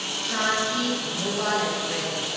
Shan e Bhopal express